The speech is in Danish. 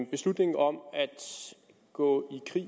beslutningen om at gå